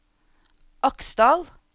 Aksdal